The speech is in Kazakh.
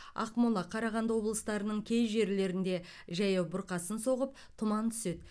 ақмола қарағанды облыстарының кей жерлерінде жаяу бұрқасын соғып тұман түседі